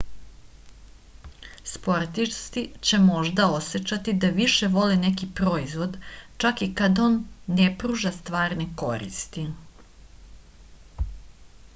sportisti će možda osećati da više vole neki proizvod čak i kad on ne pruža stvarne koristi